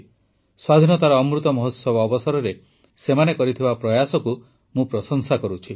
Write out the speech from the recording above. ସ୍ୱାଧୀନତାର ଅମୃତ ମହୋତ୍ସବ ଅବସରରେ ସେମାନେ କରିଥିବା ପ୍ରୟାସକୁ ମୁଁ ପ୍ରଶଂସା କରୁଛି